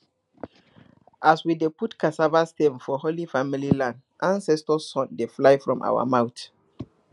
as we dey put cassava stem for holy family land ancestor song dey fly from our mouth